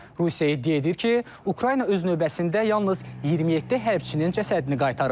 Rusiya iddia edir ki, Ukrayna öz növbəsində yalnız 27 hərbiçinin cəsədini qaytarıb.